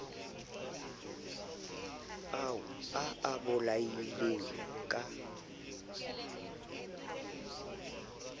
ao a a bolaileng ka